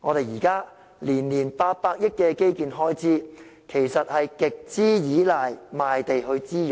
現在每年800億元的基建開支，其實是極度倚賴賣地作滋養。